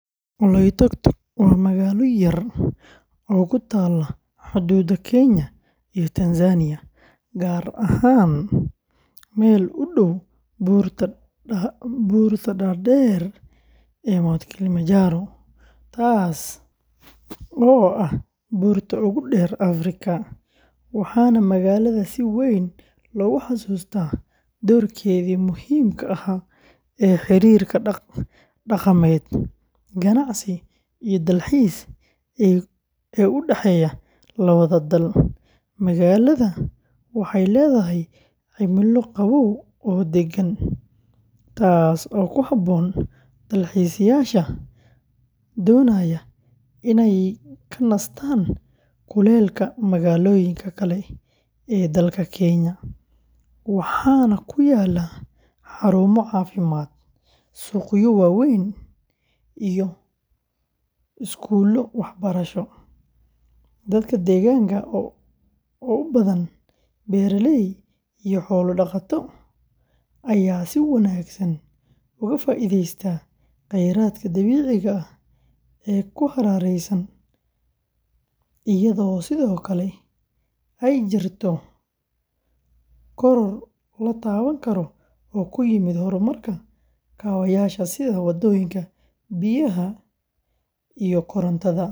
Oloitokitok waa magaalo yar oo ku taalla xuduudda Kenya iyo Tanzania, gaar ahaan meel u dhow buurta dhaadheer ee Mount Kilimanjaro, taas oo ah buurta ugu dheer Afrika, waxaana magaalada si weyn loogu xasuustaa doorkeedii muhiimka ahaa ee xiriirka dhaqameed, ganacsi iyo dalxiis ee u dhexeeya labada dal. Magaalada waxay leedahay cimilo qabow oo deggan, taas oo ku habboon dalxiisayaasha doonaya inay ka nastaan kuleylka magaalooyinka kale ee dalka Kenya, waxaana ku yaalla xarumo caafimaad, suuqyo waaweyn iyo iskuulo waxbarasho. Dadka deegaanka oo u badan beeraley iyo xoolo-dhaqato ayaa si wanaagsan uga faa’iideysta khayraadka dabiiciga ah ee ku hareeraysan, iyadoo sidoo kale ay jirto koror la taaban karo oo ku yimid horumarka kaabayaasha sida waddooyinka, biyaha iyo korontada.